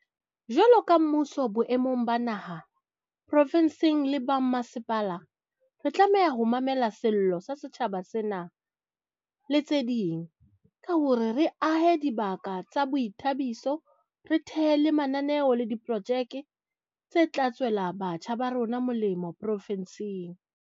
Jwalo ka mmuso boemong ba naha, profinse le ba mmasepala, re tlameha ho mamela sello sa setjhaba sena, le tse ding, ka hore re ahe dibaka tsa boithabiso, re thehe le mananeo le diprojeke tse tla tswela batjha ba rona molemo profinseng.